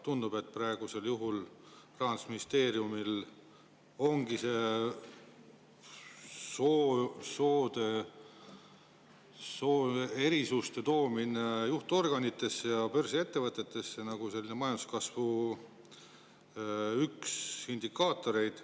Tundub, et praegusel juhul see sooerisuste toomine juhtorganitesse ja börsiettevõtetesse ongi Rahandusministeeriumi justkui üks majanduskasvu indikaatoreid.